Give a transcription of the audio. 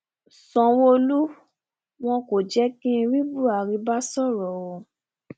sanwóolú wọn kò jẹ kí n rí buhari bá sọrọ o